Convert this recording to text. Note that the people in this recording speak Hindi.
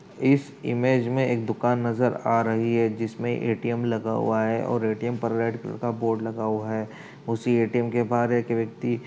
इस इमेज में एक दुकान नजर आ रही है जिसमें ए_टी_एम लगा हुआ है और ए_टी_एम पर रेड कलर का बोर्ड लगा हुआ है। उसी ए_टी_एम के बाहर एक व्यक्ति --